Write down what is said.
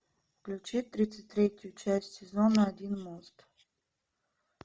включи тридцать третью часть сезона один мост